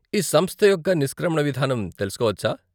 ఈ సంస్థ యొక్క నిష్క్రమణ విధానం తెలుసుకోవచ్చా?